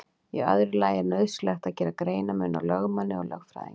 Í öðru lagi er nauðsynlegt að gera greinarmun á lögmanni og lögfræðingi.